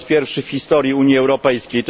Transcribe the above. Po raz pierwszy w historii Unii Europejskiej.